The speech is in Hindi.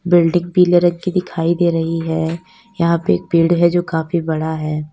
बिल्डिंग पीले रंग की दिखाई दे रही है यहां पे एक पेड़ है जो काफी बड़ा है।